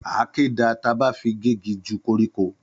Àkẹ dà tàbá fẹ gẹ́gì jú kọrikọ